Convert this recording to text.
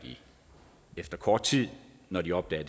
efter kort tid når de opdager